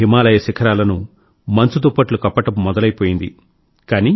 కొన్ని హిమాలయ శిఖరాలను మంచు దుప్పట్లు కప్పడం మొదలైపోయింది